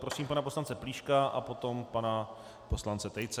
Prosím pana poslance Plíška a potom pana poslance Tejce.